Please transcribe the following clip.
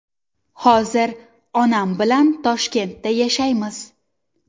Hozir onam bilan Toshkentda yashaymiz.